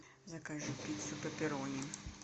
закажи пиццу пепперони